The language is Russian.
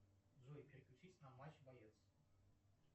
джой переключись на матч боец